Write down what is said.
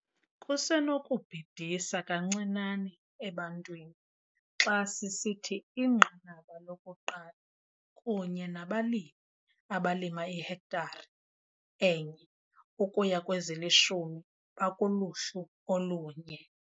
Kusenokubhidisa kancinane ebantwini xa sisithi iNqanaba loku-1 kunye nabalimi abalima ihektare enye ukuya kwezilishumi bakuluhlu olunye.